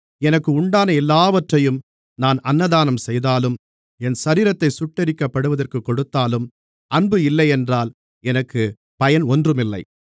எனக்கு உண்டான எல்லாவற்றையும் நான் அன்னதானம் செய்தாலும் என் சரீரத்தைச் சுட்டெரிக்கப்படுவதற்குக் கொடுத்தாலும் அன்பு இல்லையென்றால் எனக்கு பயன் ஒன்றுமில்லை